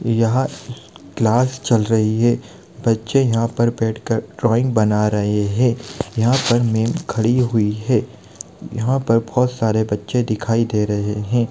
यहाँ क्लास चल रही है बच्चे यहा पर बैठकर ड्रोइंग बना रहे है यहाँ पर मेम खड़ी हुई है यहाँ पर बहुत सारे बच्चे दिखाई दे रहे है।